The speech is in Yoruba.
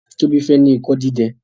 Tobi fè ní Ikọ dídẹ.